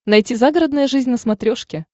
найти загородная жизнь на смотрешке